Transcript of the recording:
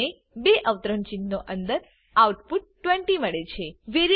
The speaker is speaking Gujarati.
આપણે બે અવતરણચિહ્નો અંદર આઉટ પુટ 20 મળે છે